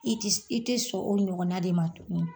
I ti i tɛ sɔn o ɲɔgɔnna de ma tun